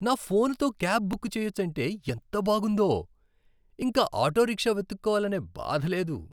నా ఫోనుతో cab book చెయ్యొచ్చంటే ఎంత బాగుందో. ఇంక ఆటోరిక్షా వెతుక్కోవాలనే బాధ లేదు.